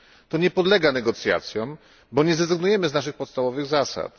To nie podlega negocjacjom, bo nie zrezygnujemy z naszych podstawowych zasad.